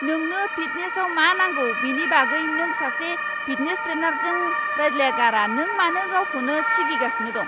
नोंनो फिटनेसआव मा नांगौ बेनि बागै नों सासे फिटनेस ट्रेनारजों रायज्लायागारानों मानो गावखौनो सिगिगासिनो दं?